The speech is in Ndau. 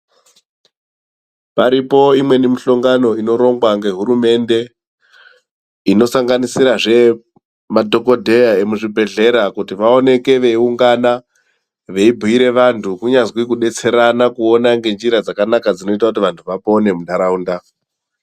Paripo imweni mihlongano inorongwa ngehurumende inosanganisira zvemadhokodheya emuzvibhedhlera kuti vaoneke veiungana veibire vantu kunyazi kubetserana kuona ngenjira dzakanaka dzinoita kuti vantu vapone muntaraunda.